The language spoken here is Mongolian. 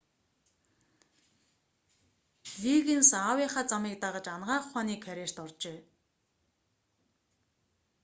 лиггинс аавынхаа замыг дагаж анагаах ухааны карьерт оржээ